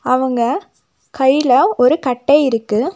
அவங்க கையில ஒரு கட்டை இருக்கு.